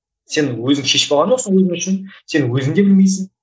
сен өзің шешіп алған жоқсың өзің үшін сен өзің де білмейсің